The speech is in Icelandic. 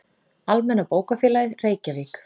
Almenna bókafélagið, Reykjavík.